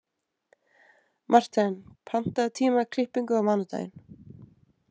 Marthen, pantaðu tíma í klippingu á mánudaginn.